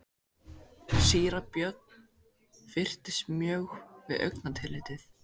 Síra Björn fyrtist mjög við augnatillitið.